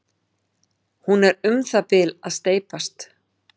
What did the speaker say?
Hún er um það bil að steypast.